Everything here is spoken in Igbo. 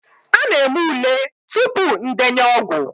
A na-eme ule tupu ndenye ọgwụ